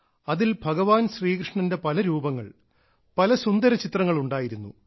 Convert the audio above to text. അതിൽ ഭഗവാൻ ശ്രീകൃഷ്ണന്റെ പല രൂപങ്ങൾ പല സുന്ദര ചിത്രങ്ങൾ ഉണ്ടായിരുന്നു